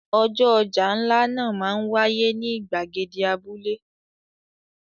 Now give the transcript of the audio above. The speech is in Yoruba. Ọjọ́ ọjà ńlá náà máa ń wáyé ní ìgbàgede abúlé.